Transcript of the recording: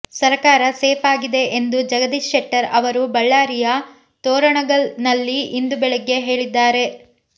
ಸರಕಾರ ಸೇಫ್ ಆಗಿದೆ ಎಂದು ಜಗದೀಶ್ ಶೆಟ್ಟರ್ ಅವರು ಬಳ್ಳಾರಿಯ ತೋರಣಗಲ್ ನಲ್ಲಿ ಇಂದು ಬೆಳಗ್ಗೆ ಹೇಳಿದ್ದಾರೆ